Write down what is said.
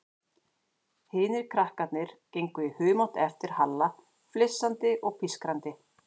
Hinir krakkarnir gengu í humátt á eftir Halla, flissandi og pískrandi.